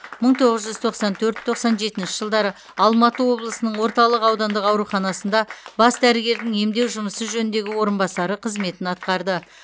мың тоғыз жүз тоқсан төрт тоқсан жетінші жылдары алматы облысының орталық аудандық ауруханасында бас дәрігердің емдеу жұмысы жөніндегі орынбасары қызметін атқарды